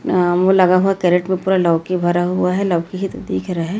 अह वो लगा हुआ क्रेट में पूरा लौकी भरा हुआ है लौकी ही तो दिख रहा है।